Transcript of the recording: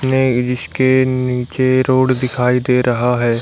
ने जिसके नीचे रोड दिखाई दे रहा है।